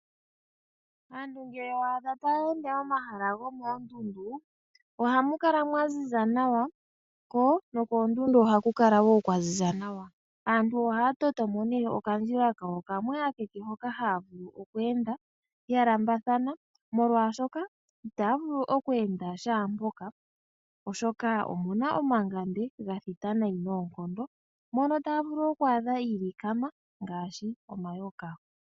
Aantu ngele waadha taya ende momahala gumoondundu, oha mu kala mwa ziza nawa ko nokoondundu ohaku kala wo kwa ziza nawa. Aantu ohaya toto mo nee okandjila kawo kamwe ekeke hoka haya vulu oku enda ya lambathana molwaashoka itaya vulu oku enda shaampoka oshoka omuna omangande ga thita nayi noonkondo mono taya vulu oku adha iilikama omayoka.